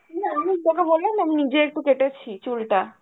না এমনি তোকে বললাম না আমি নিজে একটু কেটেছি চুলটা